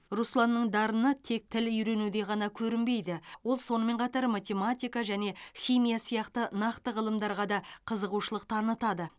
русланның дарыны тек тіл үйренуде ғана көрінбейді ол сонымен қатар математика және химия сияқты нақты ғылымдарға да қызығушылық танытады